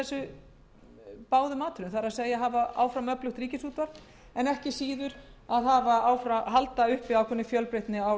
þessum atriðum það er að hafa áfram öflugt ríkisútvarp en ekki síður að halda uppi ákveðinni fjölbreytni á